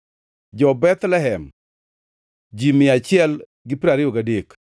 jo-Bethlehem, ji mia achiel gi piero ariyo gadek (123),